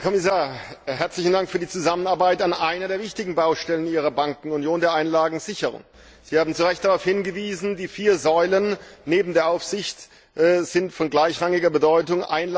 Herr Kommissar, herzlichen Dank für die Zusammenarbeit an einer der wichtigen Baustellen in ihrer Bankenunion, der Einlagensicherung. Sie haben zu Recht darauf hingewiesen Die vier Säulen neben der Aufsicht sind von gleichrangiger Bedeutung.